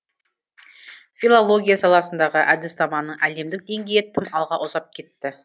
филология саласындағы әдіснаманың әлемдік деңгейі тым алға ұзап кетті